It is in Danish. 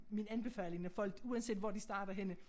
Min anbefaling når folk uanset hvor de starter henne